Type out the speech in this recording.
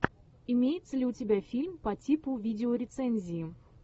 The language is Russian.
имеется ли у тебя фильм по типу видеорецензии